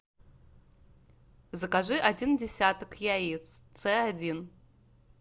закажи один десяток яиц ц один